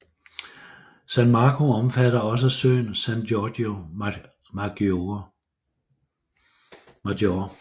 San Marco omfatter også øen San Giorgio Maggiore